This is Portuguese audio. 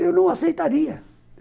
Eu não aceitaria.